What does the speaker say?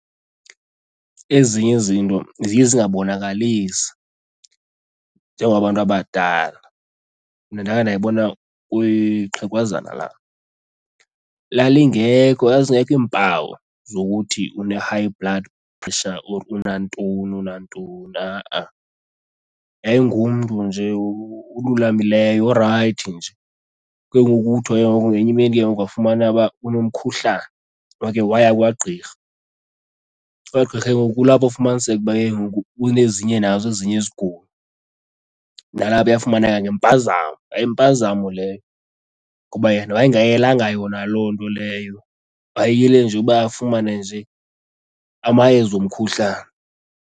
Ezinye izinto ziye zingabonakalisi njengokubantu abadala. Mna ndakhe ndayibona kwixhegwazana lam lalingekho, zazingekho iimpawu zokuthi une-high blood pressure or unantoni unantoni ha-a, yayingumntu nje ululamileyo, orayithi nje. Ke ngoku kuthiwa ke ngoku ngenyimini ke ngoku kwafumanwa uba unomkhuhkane, wakhe waya kwagqirha. Kwagqirha ke ngoku kulapho ufumaniseke ukuba ke ngoku kunezinye nazo ezinye izigulo, nalapho yafumaneka ngempazamo. Yayimpazamo leyo ngoba yena wayengayelanga yona loo nto leyo, wayeyele nje uba afumane nje amayeza omkhuhlane.